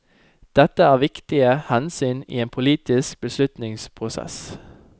Dette er viktige hensyn i en politisk beslutningsprosess.